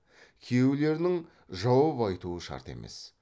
күйеулерінің жауап айтуы шарт емес